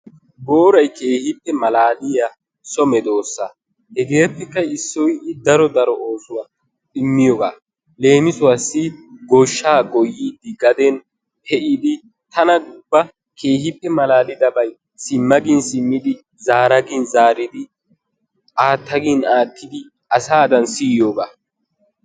Booray keehippe malaaliya so medoosa. Hegaappekka issoy I daro maaduwa immiyogaa. Leem, goshshaa goyidi gaden pe'idi gaden tana ubba keehippe malaalidabay, simma gin simmidi, zaara gin zaaridi, aatta gin aattidi asaadan siyiyogaa.